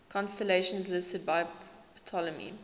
constellations listed by ptolemy